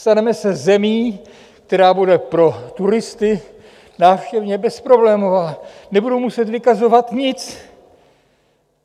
Staneme se zemí, která bude pro turisty návštěvně bezproblémová, nebudou muset vykazovat nic.